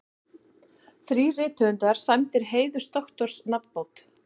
Þrír rithöfundar sæmdir heiðursdoktorsnafnbót